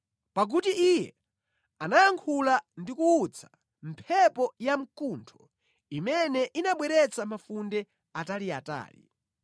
Pakuti Iye anayankhula ndi kuwutsa mphepo yamkuntho imene inabweretsa mafunde ataliatali.